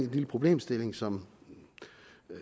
lille problemstilling som